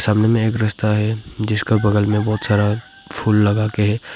सामने एक रस्ता है जिसका बगल में बहोत सारा फूल लगा के है।